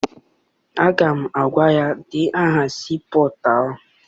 Aga m agwa ya, denye aha sii pọtụ ahụ!